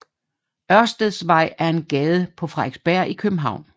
Ørsteds Vej er en gade på Frederiksberg i København